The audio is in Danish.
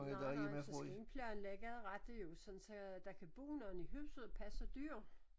Nej nej så skal I planlægge rette jo sådan så der kan bor nogle i huset og passe dyr